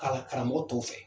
Ka karamɔgɔ tɔw fɛ